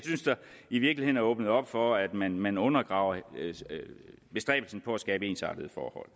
i virkeligheden er blevet åbnet op for at man man undergraver bestræbelsen på at skabe ensartede forhold